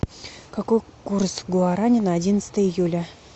какой курс гуарани на одиннадцатое июля